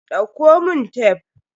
Dauko mun tef.